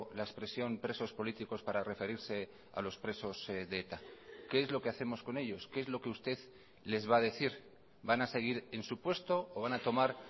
la expresión presos políticos para referirse a los presos de eta qué es lo que hacemos con ellos qué es lo que usted les va a decir van a seguir en su puesto o van a tomar